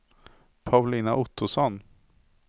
Paulina Ottosson